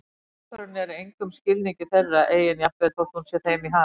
Ákvörðunin er í engum skilningi þeirra eigin jafnvel þótt hún sé þeim í hag.